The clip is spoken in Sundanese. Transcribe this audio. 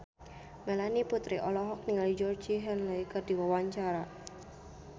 Melanie Putri olohok ningali Georgie Henley keur diwawancara